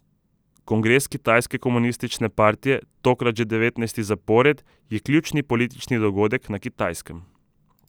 Kongres Kitajske komunistične partije, tokrat že devetnajsti zapored, je ključni politični dogodek na Kitajskem.